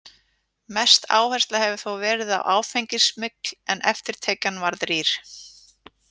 Mest áhersla hefur þó verið á áfengissmygl en eftirtekjan varð rýr.